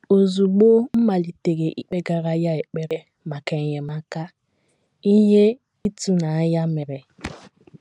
Ozugbo m malitere ikpegara Ya ekpere maka enyemaka, ihe ịtụnanya mere.